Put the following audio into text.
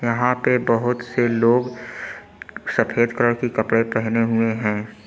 यहां पे बहुत से लोग सफेद कलर की कपड़े पहने हुए हैं।